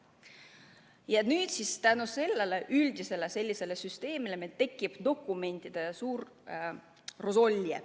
Ja nüüd siis "tänu" sellele üldisele süsteemile tekib meil suur dokumentide rosolje.